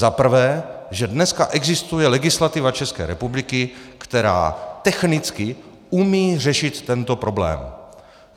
Za prvé, že dneska existuje legislativa České republiky, která technicky umí řešit tento problém.